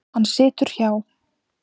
Hann situr hjá